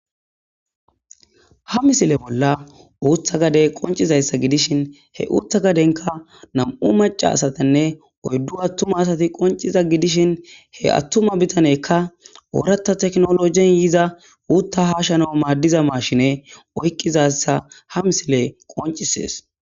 Ha misile bolla uutha gade qoncizayssa gidishin he uutha gadenka nam'u maca asatinne oyddu attuma asati qonciza gidishin he attuma bitanekka oorata teknologen yiza uutta hashano maaddiza maashine oykqizassa ha misile qoncisees.